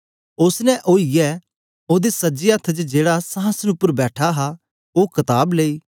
उस्स ने आईयै ओदे सज्जे हत्थ च जेहड़ा संहासन उपर बैठा हा ओ कताब लेई